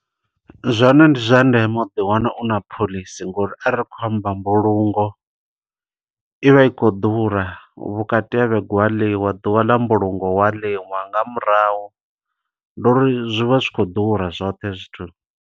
Zwone ndi zwa ndeme u ḓi wana u na phoḽisi, ngo uri are ri kho amba mbulungo, i vha i khou ḓura. Vhukati havhege hu a ḽiwa, ḓuvha ḽa mbulungo hu a ḽiwa. Nga murahu, ndi uri zwivha zwi khou ḓura zwoṱhe hezwi zwithu.